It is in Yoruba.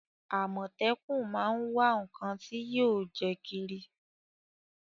Àmọ̀tẹ́kún máa ń wá ǹnkan tí yóò jẹ́ kírí